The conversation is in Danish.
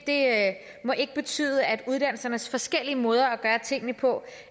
må ikke betyde at uddannelsernes forskellige måder at gøre tingene på